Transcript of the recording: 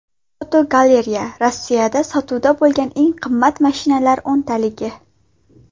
Fotogalereya: Rossiyada sotuvda bo‘lgan eng qimmat mashinalar o‘ntaligi.